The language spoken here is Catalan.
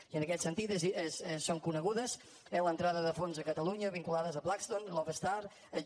i en aquest sentit són conegudes eh les entrades de fons a catalunya vinculades a blackstone lone star j